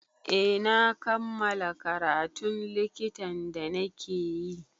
Eh na kammala karatun likitan da na ke yi